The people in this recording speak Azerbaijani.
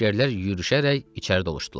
Əsgərlər yürüşərək içəri doluşdular.